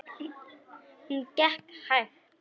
Hún gekk hægt.